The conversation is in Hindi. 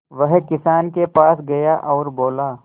वह किसान के पास गया और बोला